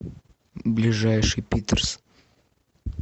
ближайший питрс